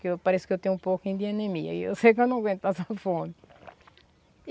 Que eu pareço que eu tenho um pouco de anemia e eu sei que eu não aguento essa fome.